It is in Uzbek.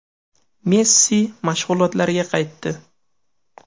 Messi mashg‘ulotlarga qaytdi.